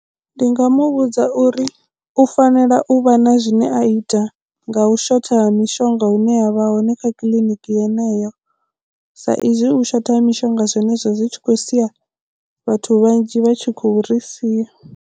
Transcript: Ndi nga mu vhudza uri u fanela u vha na zwine a ita nga u shotha ha mishonga hune ya vha hone kha kiḽiniki yeneyo sa izwi u shotha ha mishonga zwenezwo zwi tshi khou sia vhathu vhanzhi vha tshi khou ri sia.